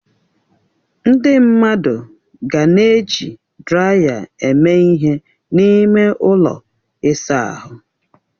Ndị mmadụ ga na-eji draya eme ihe n'ime ụlọ ịsa ahụ.